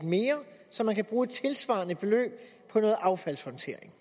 mere så man kan bruge et tilsvarende beløb på noget affaldshåndtering